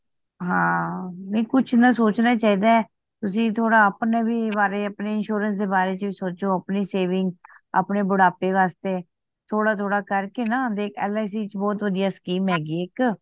ਹਾਂ ਨਹੀਂ ਕੁਛ ਨਾ ਸੋਚਨਾ ਹੀ ਚਾਹੀਦਾ ਤੁਸੀ ਥੋੜਾ ਆਪਣੇ ਵੀ ਬਾਰੇ ਆਪਨੇ insurance ਦੇ ਬਾਰੇ ਚ ਵੀ ਸੋਚੋ ਅਪਨੀ saving ਅਪਨੇ ਬੁੱਢਾਪੇ ਵਾਸਤੇ ਥੋੜਾ ਥੋੜਾ ਕਰ ਕੇ ਨਾ ਦੇਖ L .I .Cਚ ਬਹੁਤ ਵਧੀਆ scheme ਹੈਗੀ ਵੇ ਇੱਕ